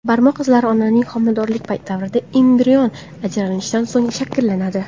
Barmoq izlari onaning homiladorlik davrida, embrion ajralishidan so‘ng shakllanadi.